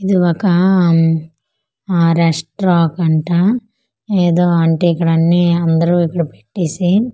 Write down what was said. ఇది ఒకా ఆమ్ ఆ రెస్ట్ రాకంటా ఏదో అంటే ఇక్కడన్ని అందరూ ఇక్కడ పెట్టేసి ఆ.